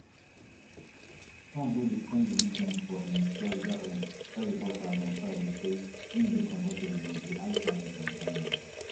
trump wey dey spend di weekend for im florida home tell reporters on friday say im dey comfortable wit di high tariffs on china